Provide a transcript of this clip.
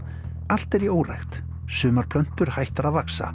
allt er í órækt sumar plöntur hættar að vaxa